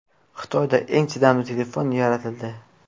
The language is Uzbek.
Xitoyda eng chidamli telefon yaratildi .